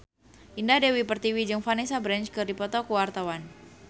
Indah Dewi Pertiwi jeung Vanessa Branch keur dipoto ku wartawan